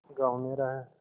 गॉँव मेरा है